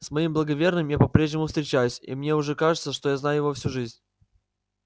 с моим благоверным я по-прежнему встречаюсь и мне уже кажется что я знаю его всю жизнь